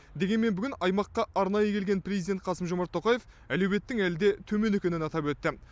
дегенмен бүгін аймаққа арнайы келген президент қасым жомарт тоқаев әлеуеттің әлі де төмен екенін атап өтті